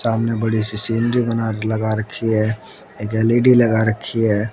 सामने बड़ी सी सी_एन_जी बना लगा रखी है एक एल_इ_डी लगा रखी है।